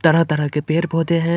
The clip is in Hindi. तरह-तरह के पेड़-पौधे हैं ।